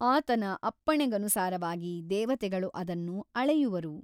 ಆತನ ಅಪ್ಪಣೆಗನುಸಾರವಾಗಿ ದೇವತೆಗಳು ಅದನ್ನು ಅಳೆಯುವರು.